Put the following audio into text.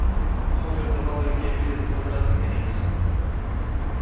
а может давала илье билет в обратный конец